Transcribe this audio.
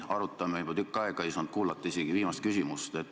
Arutame juba tükk aega, ei saanud kuulata isegi viimast küsimust.